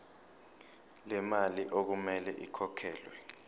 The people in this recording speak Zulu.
lemali okumele ikhokhelwe